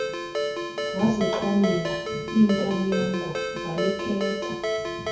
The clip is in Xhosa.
wazixhomela intanyongo walikhetha